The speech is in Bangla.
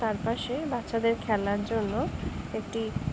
তার পাশে বাচ্চাদের খেলার জন্য একটি--